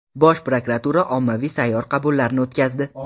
Bosh prokuratura ommaviy sayyor qabullari o‘tkazdi.